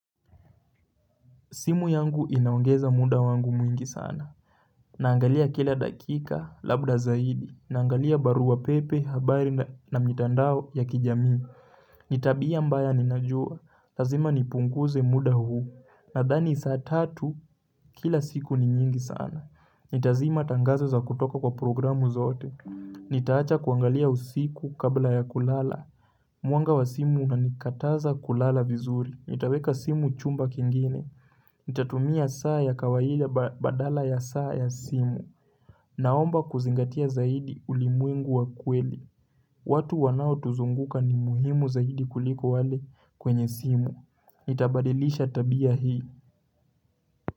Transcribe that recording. Simu yangu inaongeza muda wangu mwingi sana Naangalia kila dakika labda zaidi Naangalia barua pepe, habari na mitandao ya kijamii ni tabia mbaya ninajua Lazima nipunguze muda huu Nadhani saa tatu kila siku ni nyingi sana Nitazima tangazo za kutoka kwa programu zote Nitaacha kuangalia usiku kabla ya kulala Mwanga wa simu unanikataza kulala vizuri Nitaweka simu chumba kingine Nitatumia saa ya kawaida badala ya saa ya simu. Naomba kuzingatia zaidi ulimwengu wa kweli. Watu wanao tuzunguka ni muhimu zaidi kuliko wale kwenye simu. Nitabadilisha tabia hii.